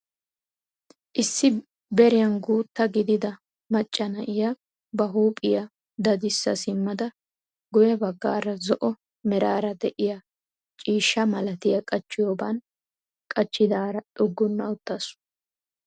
Issi beriyaan guuta gidida macca na'iyaa ba huuphphiyaa dadissa simmada guye baggaara zo'o merara de'iyaa ciishsha milatiyaa qachchiyooban qachchidaara xugunna uttasu.